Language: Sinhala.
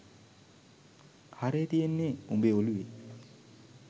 හරය තියෙන්නේ උඹේ ඔලුවේ.